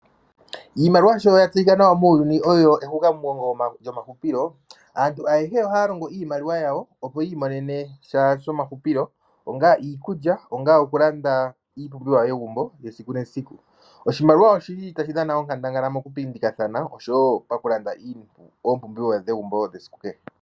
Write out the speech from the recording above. Iimaliwa sho ya tseyika nawa muuyuni oyo, nawa muuyuni oyo ehukamugongo lyomahupilo, aantu ayehe oha ya longo iimaliwa yawo opo yi imonene shonmahupilo, onga iikulya, onga okulanda iipumbiwa yegumbo esiku nesiku. Oshimaliwa oshi li ta shi dhana onkandangala moku pindikathana, osho wo oku landa iipumbiwa yegumbo esiku kehe.